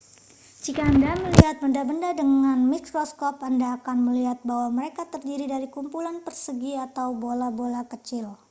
jika anda melihat benda-benda dengan mikroskop anda akan melihat bahwa mereka terdiri dari kumpulan persegi atau bola-bola kecil